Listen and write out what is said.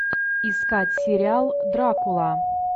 искать сериал дракула